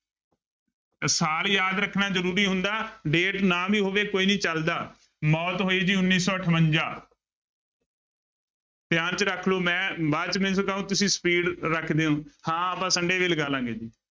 ਸਾਲ ਯਾਦ ਰੱਖਣਾ ਜ਼ਰੂਰੀ ਹੁੰਦਾ date ਨਾ ਵੀ ਹੋਵੇ ਕੋਈ ਨੀ ਚੱਲਦਾ ਮੌਤ ਹੋਈ ਜੀ ਉੱਨੀ ਸੌ ਅਠਵੰਜਾ ਧਿਆਨ ਚ ਰੱਖ ਲਓ ਮੈਂ ਬਾਅਦ ਚ ਮੈਨੂੰ ਕਹੋਂ ਤੁਸੀਂ speed ਰੱਖਦੇ ਹੋ ਹਾਂ ਆਪਾਂ sunday ਵੀ ਲਗਾ ਲਵਾਂਗੇ ਜੀ।